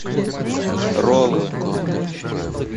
роллы